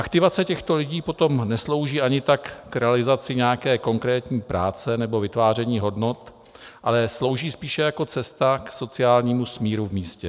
Aktivace těchto lidí potom neslouží ani tak k realizaci nějaké konkrétní práce nebo vytváření hodnot, ale slouží spíše jako cesta k sociálními smíru v místě.